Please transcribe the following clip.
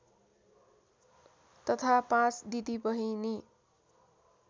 तथा पाँच दिदीबहिनी